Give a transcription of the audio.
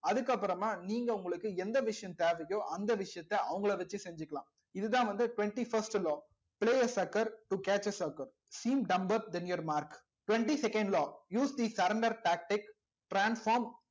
அதுக்கப்புறமா நீங்க உங்களுக்கு எந்த விஷயம் தேவையோ அந்த விஷயத்த அவங்களை வச்சு செஞ்சுக்கலாம் இதுதான் வந்து twenty first law your mark twenty second law use the surrender tactics transform